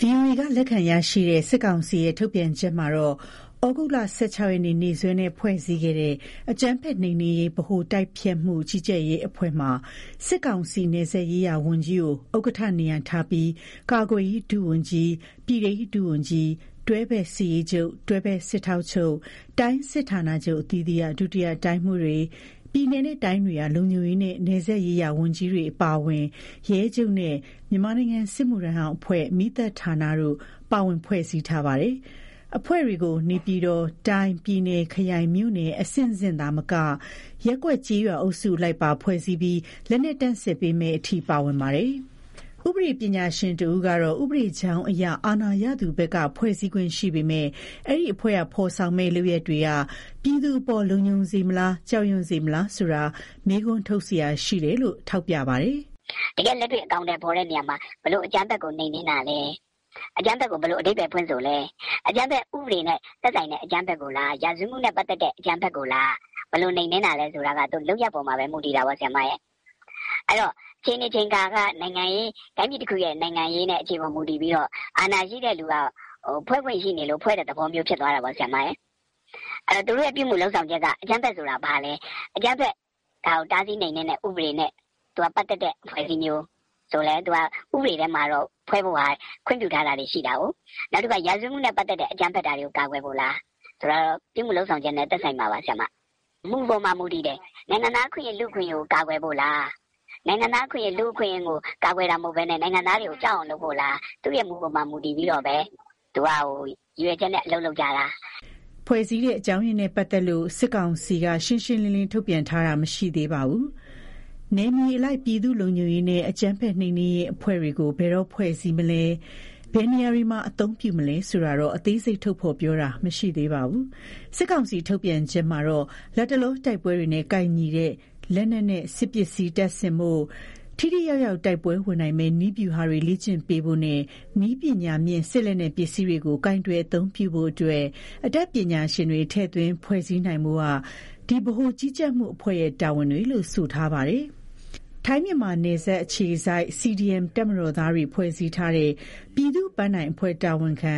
ဗွီအိုအေက လက်ခံရရှိတဲ့ စစ်ကောင်စီရဲ့ ထုတ်ပြန်ချက်မှာတော့- သြဂုတ် ၁၆ ရက် နေ့စွဲနဲ့ ဖွဲ့စည်းခဲ့တဲ့ အကြမ်းဖက်နှိမ်နင်းရေးဗဟိုတိုက်ဖျက်မှု ကြီးကြပ်ရေးအဖွဲ့ မှာ စစ်ကောင်စီ နယ်စပ်ရေးရာဝန်ကြီး ကို ဥက္ကဋ္ဌ နေရာ ထားပြီး ကာကွယ်ရေး ဒုဝန်ကြီး၊ ပြည်ထဲရေးဒုဝန်ကြီး၊ တွဲဖက်စစ်ရေးချုပ်၊ တွဲဖက်စစ်ထောက်ချုပ်၊ တိုင်းစစ်ဌာနချုပ်အသီးသီးက ဒုတိယတိုင်းမှူးတွေ၊ ပြည်နယ်နဲ့တိုင်းတွေက လုံခြုံရေးနဲ့ နယ်စပ်ရေး ရာဝန်ကြီးတွေအပါအဝင် ရဲချုပ်နဲ့ မြန်မာနိုင်ငံစစ်မှုထမ်းဟောင်းအဖွဲ့၊ မီးသတ်ဌာန တို့ပါဝင် ဖွဲ့စည်းထားပါတယ်။ အဖွဲ့တွေကို နေပြည်တော်၊ တိုင်း၊ ပြည်နယ်၊ ခရိုင်၊ မြို့နယ် အဆင့်ဆင့်သာမက ရပ်ကွက်၊ ကျေးရွာအုပ်စုအလိုက်ပါ ဖွဲ့စည်းပြီး လက်နက်တပ်ဆင်ပေးမယ့်အထိ ပါဝင်ပါတယ်။ ဥပဒေပညာရှင်တဦး ကတော့ ဥပဒေကြောင်းအရ အာဏာရသူဘက်က ဖွဲ့စည်းခွင့်ရှိပေမယ့် အဲဒီအဖွဲ့ က ဖော်ဆောင်မယ့် လုပ်ရပ်တွေက ပြည်သူအပေါ်လုံခြုံစေမလား ကြောက်ရွံံ့စေမလားဆိုတာမေးခွန်း ထုတ်စရာရှိနေတယ်လို့ထောက်ပြပါတယ်။ "တကယ်လက်တွေ့အကောင်အထည်ဖော်တဲ့နေရာမှာ ဘယ်လိုအကြမ်းဖက်ကိုနှိမ်နင်းမှာလဲ၊ အကြမ်းဖက်ကိုဘယ်လိုအဓိပ္ပါယ်ဖွင့်ဆိုလဲ။ အကြမ်းဖက်ဥပဒေနဲ့သက်ဆိုင်တဲ့ဟာကိုလား ရာဇဝတ်မှုနဲ့ ဆိုင်တဲ့အကြမ်းဖက်ကိုလား ဘယ်လိုနှိမ်နင်းလဲဆိုတာကလုပ်ရပ်ပေါ်မှာဘဲမူတည်တာပေါ့။ အဲဒီတော့ အခြေအနေ အချိန်အခါနိုင်ငံရေး အရ တိုင်းပြည်ရဲ့အခြေအနေအချိန်အခါအရ အာဏာရှိတဲ့သူက ဖွဲ့ခွင့် ရှိလို့ဖွဲ့တဲ့သဘောတော့ဖြစ်တာပေါ့။ သူတို့ပြုမှုလုပ်ဆောင်တာက အကြမ်းဖက်ဆိုတာဘာလဲ၊ အကြမ်းဖက်နဲ့သက်ဆိုင်တဲ့အဖွဲ့အစည်းမျိုးဆိုလဲ ဥပဒေအရ ဖွဲ့ဖို့ခွင့်ပြုထားတာက ရှိတာကို ရာဇဝတ်မှု နဲ့ပတ် သတ်တာလား ဒါတွေကတော့သူတို့လုပ်ဆောင်ချက်နဲ့သက်ဆိုင်မှာပါ။ မူပေါ် မူတည်တယ် နိုင်ငံသားနဲ့ လူ့အခွင့်အရေးကာကွယ်ဖို့လား နိုင်ငံသားနဲ့လူ့အခွင့်အရေးကိုကာကွယ်ဖို့မဟုတ်ဘဲ နိုင်ငံသားတွေကိုကြောက်အောင်လုပ်ဖို့လား သူ့ရည်ရွယ်ချက်မူတည်အလုပ်လုပ်ကြတာလေ" ဖွဲ့စည်းတဲ့အကြောင်းရင်းနဲ့ ပတ်သက်လို့ စစ်ကောင်စီက ရှင်းရှင်းလင်းလင်း ထုတ်ပြန်ထား တာမရှိသေးပါဘူး။ နယ်မြေအလိုက် ပြည်သူ့လုံခြုံရေးနဲ့ အကြမ်းဖက်နှိမ်နင်းရေးအဖွဲ့တွေကို ဘယ်တော့ဖွဲ့စည်းမလဲ၊ ဘယ်နေရာတွေမှာ အသုံးပြုမှာလဲဆိုတာကိုတော့ အသေးစိတ် ထုတ်ပြော တာမရှိသေးပါဘူး။ စစ်ကောင်စီ ထုတ်ပြန်ချက်မှာတော့- လတ်တလော တိုက်ပွဲတွေနဲ့ကိုက်ညီတဲ့ လက်နက်နဲ့ စစ်ပစ္စည်းတပ်ဆင်ဖို့၊ ထိထိရောက်ရောက်တိုက်ပွဲ ဝင်နိုင်မယ့် နည်းဗျူဟာတွေ လေ့ကျင့်ပေးဖို့နဲ့ နည်းပညာမြင့်စစ်လက်နက်ပစ္စည်းတွေကိုကိုင်တွယ် အသုံး ပြုနိုင်ဖို့အတွက် အတတ်ပညာရှင်တွေထည့်သွင်းဖွဲ့စည်းနိုင်ဖို့က ဒီဗဟိုကြီးကြပ်မှုအဖွဲ့ရဲ့ တာဝန်တွေလို့ဆိုထားပါတယ်။ ထိုင်း-မြန်မာနယ်စပ်အခြေစိုက် CDM တပ်မတော်သားတွေ ဖွဲ့စည်းထားတဲ့ ပြည်သူ့ပန်းတိုင် အဖွဲ့ တာဝန်ခံ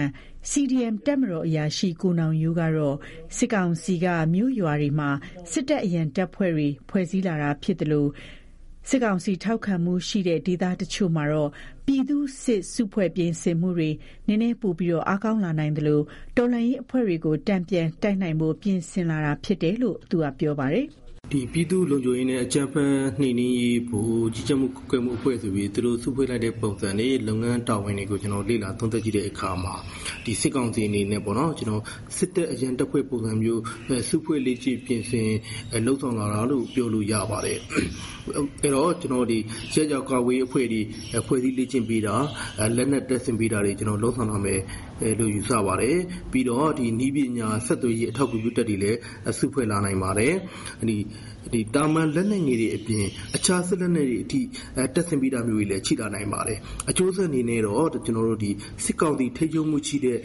CDM တပ်မတော်အရာရှိ ကိုနောင်ရိုးကတော့ စစ်ကောင်စီက မြို့ရွာတွေမှာ စစ်တပ်အရံတပ်ဖွဲ့တွေဖွဲ့စည်းလာတာဖြစ်သလို စကစ ထောက်ခံမှုရှိတဲ့ ဒေသအချို့မှာတော့ ပြည်သူ့စစ်စုဖွဲ့ပြင်ဆင်မှုတွေ နည်းနည်းပိုအားကောင်းလာနိုင်သလို တော်လှန်ရေး အဖွဲ့တွေကို တန်ပြန် တိုက်နိုင်ဖို့ပြင်ဆင်လာတာဖြစ်တယ်လို့သူကပြောပါတယ်။ "ပြည်သူ့လုံခြုံရေးနဲ့ အကြမ်းဖက်နှိမ်နင်းရေးဗဟို ဆိုပြီးသူတို့စုဖွဲ့လိုက်တာ လုပ်ငန်းတာဝန်တွေကို လေ့ လာသုံးသပ်ကြည့်တဲ့အခါမှာ စစ်ကောင်စီအနေနဲ့စစ်တပ်အရံတပ်ဖွဲ့ပုံစံမျိုး စုဖွဲ့လေ့ကျင့်ပြင်ဆင်လုပ် ဆောင်လာတာလို့ ပြောလို့ရပါတယ်။ ရပ်ရွာကာကွယ်ရေးတွေဖွဲ့စည်းလေ့ကျင့်ပေးတာ၊ လက်နက်တပ် ဆင်ပေးတာတွေလုပ်လာနိုင်တယ်လို့ယူဆတယ်။ ပြီးတော့ ဆက်သွယ်ရေးနည်းပညာ အထောက်အကူ ပြုတပ်တွေစုဖွဲ့လာနိုင်ပါတယ်။ သာမန်လက်နက်ငယ်တွေအပြင် အခြားအကြီးစားလက်နက်တွေပါ တပ်ဆင်ပေးလာတာတွေရှိလာနိုင်ပါတယ်။ အကျိုးဆက်အနေနဲ့ကတော့ စကစ ထောက်ခံမှုရှိတဲ့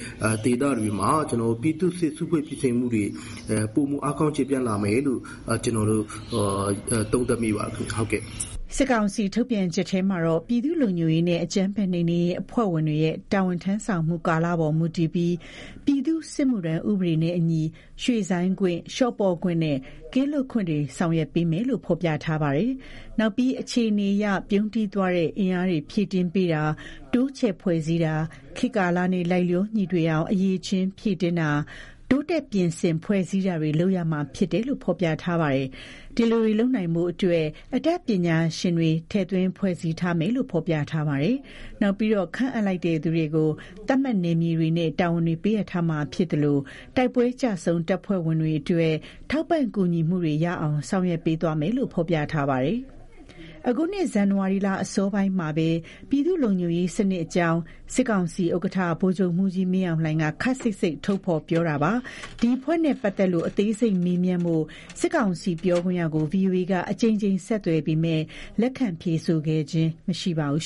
ဒေသအချို့မှာတော့ ပြည်သူ့စစ်စုဖွဲ့ပြင်ဆင်မှုတွေ ပိုအားကောင်းကျယ်ပြန့်လာမယ် လို့သုံးသပ်မိပါတယ်။" စစ်ကောင်စီ ထုတ်ပြန်ချက်ထဲမှာတော့- ပြည်သူ့လုံခြုံရေးနဲ့ အကြမ်းဖက်နှိမ်နင်းရေးအဖွဲ့ဝင်တွေရဲ့တာဝန်ထမ်းဆောင်မှုကာလပေါ်မူတည်ပြီး ပြည်သူ့စစ်မှုထမ်းဥပဒေနဲ့အညီ ရွှေ့ဆိုင်းခွင့်၊ လျှော့ပေါ့ခွင့် နဲ့ ကင်းလွတ်ခွင့်တွေဆောင်ရွက်ပေးမယ်လို့ ဖော်ပြထားပါတယ်။ နောက်ပြီး အခြေအနေအရ ပြုန်းတီးသွားတဲ့အင်အားများ ဖြည့်တင်းပေးတာ တိုးချဲ့ ဖွဲ့စည်းတာ၊ ခေတ်ကာလနဲ့လိုက်လျောညီထွေအောင် အရည်အချင်းဖြည့်တင်းမှု၊ တိုးတက် ပြင်ဆင်ဖွဲ့စည်းတာတွေလုပ်ရမှာဖြစ်တယ်လို့ဖော်ပြထားပါတယ်။ ဒီလိုတွေလုပ်နိုင်ဖို့အတွက် အတတ် ပညာရှင်များ ထည့်သွင်းဖွဲ့စည်းသွားမယ်လို့ဖော်ပြထားပါတယ်။ နောက်ပြီး ခန့်အပ်လိုက်သူတွေကို သတ်မှတ်နယ်မြေ တွေ နဲ့ တာဝန်တွေပေးအပ်ထားမှာဖြစ်သလိုတိုက်ပွဲကျဆုံးတပ်ဖွဲ့ဝင်များအတွက် ထောက်ပံ့ကူညီမှုများ ရရှိအောင် ဆောင်ရွက်ပေးသွားမယ်လို့ ဖော်ပြထားပါတယ်။ အခုနှစ်ဇန်နဝါရီလအစောပိုင်းမှာပဲ ပြည်သူ့လုံခြုံရေး စနစ်အကြောင်း စစ်ကောင်စီ ဥက္ကဋ္ဌ ဗိုလ်ချုပ်မှုးကြီး မင်းအောင်လှိုင်က ခပ်စိပ်စိပ်ထုတ်ပြောထားတာပါ။ ဒီအဖွဲ့နဲ့ပတ်သတ်လို့ အသေးစိတ်မေးမြန်းဖို့ စစ်ကောင်စီပြောခွင့်ရကို ဗွီအိုအေက အကြိမ်ကြိမ်ဆက်သွယ်ပေမယ့် လက်ခံဖြေဆိုခဲ့ခြင်းမရှိပါဘူး